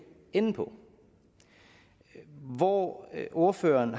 ende på hvor ordføreren